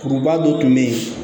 Kuruba dɔ tun be ye